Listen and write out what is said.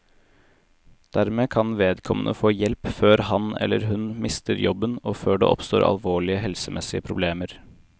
Dermed kan vedkommende få hjelp før han, eller hun, mister jobben og før det oppstår alvorlige helsemessige problemer.